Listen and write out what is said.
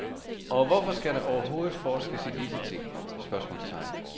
Og hvorfor skal der overhovedet forskes i disse ting? spørgsmålstegn